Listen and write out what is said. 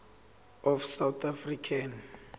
of south african